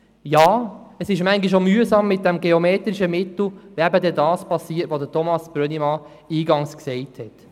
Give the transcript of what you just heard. Ja, ab und an ist es auch mühsam mit diesem geometrischen Mittel, wenn dann das geschieht, was Grossrat Brönnimann eingangs erwähnt hat.